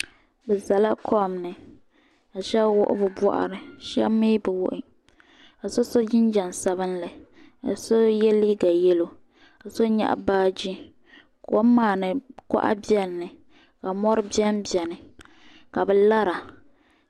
bɛ zala kom ni ka shɛba wɔɣi bɛ bɔɣ'ri shɛba mii bɛ wɔɣi ka so so gingɛm sabinli so yɛ liiga yɛllo ka so nyaɣi baagi kom maa ni kɔɣa bɛni mi ka mɔri bɛni bɛni ka bɛ lara